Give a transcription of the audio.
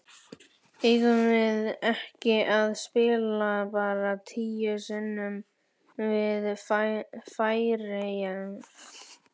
Eigum við ekki að spila bara tíu sinnum við Færeyjar?